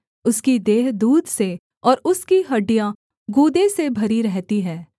उसकी देह दूध से और उसकी हड्डियाँ गूदे से भरी रहती हैं